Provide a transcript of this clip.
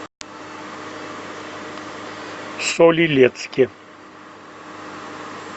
соль илецке